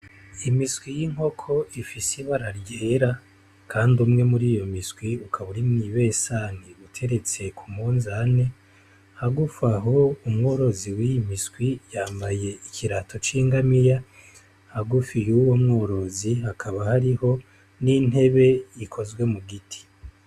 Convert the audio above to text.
Imiswi y'inkoko ifise ibara ryera kandi umwe muri iyo miswi ukaba uri mw'ibesani, uteretse ku munzane. Hagufi aho, umworozi w'iyo miswi yambaye ikirato c'ingamiya, hagufi y'uwo mworozi hakaba hariho n'intebe ikozwe mu giti.